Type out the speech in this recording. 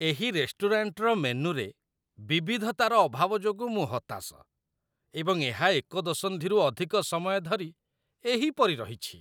ଏହି ରେଷ୍ଟୁରାଣ୍ଟର ମେନୁରେ ବିବିଧତାର ଅଭାବ ଯୋଗୁଁ ମୁଁ ହତାଶ, ଏବଂ ଏହା ଏକ ଦଶନ୍ଧିରୁ ଅଧିକ ସମୟ ଧରି ଏହିପରି ରହିଛି!